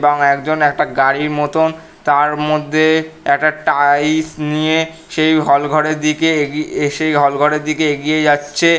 বা একজন একটা গাড়ির মতন তার মধ্যে একটা টাইলস নিয়ে সেই হল -ঘরের দিকে এগিয়ে এসে এগিয়ে সে হল -ঘরের দিকে এগিয়ে যাচ্ছে।